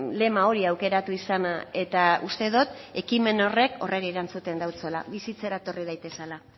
lema hori aukeratu izana eta uste dot ekimen horrek horri erantzuten dautzala bizitzera etorri daitezela